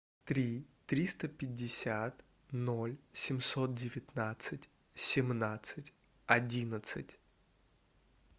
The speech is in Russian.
три триста пятьдесят ноль семьсот девятнадцать семнадцать одиннадцать